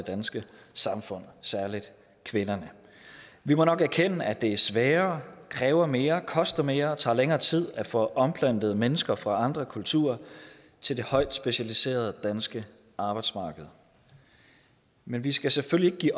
danske samfund særlig kvinderne vi må nok erkende at det er sværere kræver mere koster mere og tager længere tid at få omplantet mennesker fra andre kulturer til det højt specialiserede danske arbejdsmarked men vi skal selvfølgelig